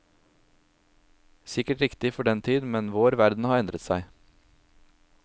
Sikkert riktig for den tid, men vår verden har endret seg.